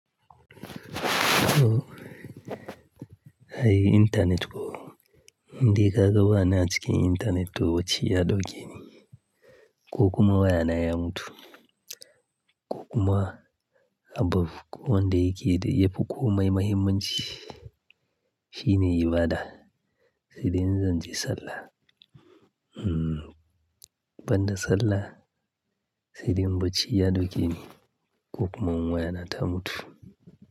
To, ai internet ko? In dai kaga ba na a cikin internet to bacci ya dauke ni, ko kuma waya na ya mutu. Ko kuma abu ko wanda yake da--yafi komai mahimmanci shine ibada, sai dai in zan je sallah. Hmm, ban da sallah sai dai in bacci ya dauke ni ko kuma in wayana ta mutu.